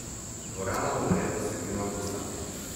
Dvorana bo nared do sredine avgusta.